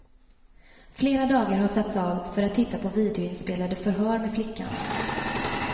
Flera dagar har satts av för att titta på videoinspelade förhör med flickan.